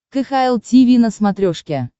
кхл тиви на смотрешке